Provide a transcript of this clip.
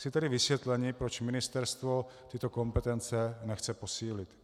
Chci tedy vysvětlení, proč ministerstvo tyto kompetence nechce posílit.